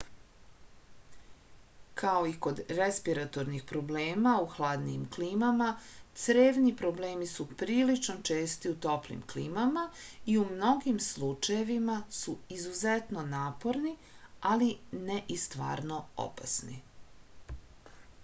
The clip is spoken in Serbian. kao i kod respiratornih problema u hladnijim klimama crevni problemi su prilično česti u toplim klimama i u mnogim slučajevima su izuzetno naporni ali ne i stvarno opasni